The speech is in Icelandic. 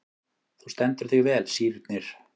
Þú stendur þig vel, Sírnir!